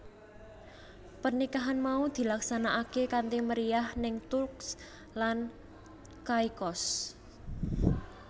Pernikahan mau dilaksanakaké kanthi meriyah ning Turks lan Caicos